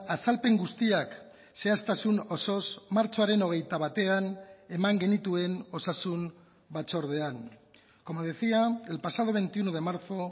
azalpen guztiak zehaztasun osoz martxoaren hogeita batean eman genituen osasun batzordean como decía el pasado veintiuno de marzo